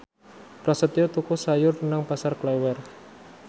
Prasetyo tuku sayur nang Pasar Klewer